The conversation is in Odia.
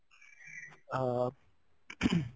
ହଁ ing